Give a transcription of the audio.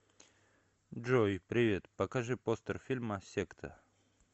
джой привет покажи постер фильма секта